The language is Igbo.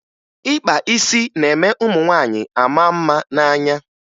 Ịkpa isi na-eme ụmụ nwaanyị a maa mma n'anya